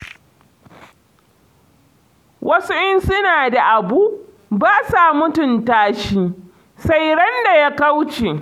Wasu in suna da abu, ba sa mutunta shi, sai ran da ya kauce.